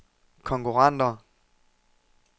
konkurrenter